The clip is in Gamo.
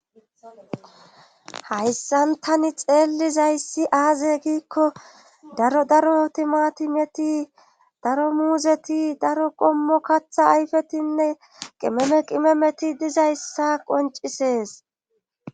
hayssan tani xeellizayssi aaze giikko daro daro timati meti daro muuzeti daro qommo katha ayfetinne qimeme qimemeti dizayssa qoncisees